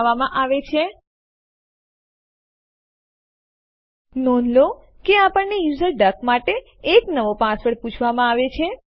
આ ફરીથી ફાઈલ ડેમો1 જે homeanirbanarc ડિરેક્ટરી થી homeanirban ડિરેક્ટરી માં ફાઈલ નામ ડેમો1 સાથે કોપી થશે